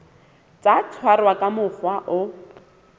tla tshwarwa ka mokgwa o